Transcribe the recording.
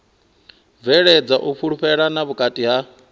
bveledza u fhulufhelana vhukati ha